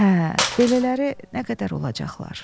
Hə, belələri nə qədər olacaqlar?